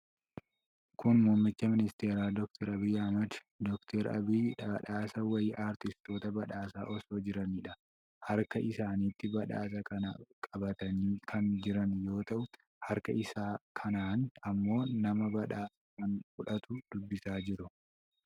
Kun Muummicha Ministeeraa Dr Abiy Ahimadi. Dr Abiy badhaasa wayii artistoota badhaasaa osoo jiraniidha. Harka isaanitti badhaasa kana qabatanii kan jiran yoo ta'u, harka isa kaaniin ammoo nama badhaasa kan fudhatu dubbisaa jiru.